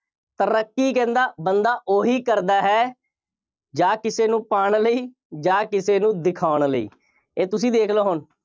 ਤਰੱਕੀ ਕਹਿੰਦਾ ਬੰਦਾ ਉਹੀ ਕਰਦਾ ਹੈ ਜਾਂ ਕਿਸੇ ਨੂੰ ਪਾਉਣ ਲਈ ਜਾਂ ਕਿਸੇ ਨੂੰ ਦਿਖਾਉਣ ਲਈ। ਇਹ ਤੁਸੀਂ ਵੇਖ ਲਓ ਹੁਣ।